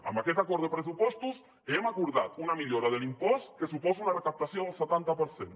amb aquest acord de pressupostos hem acordat una millora de l’impost que suposa una recaptació del setanta per cent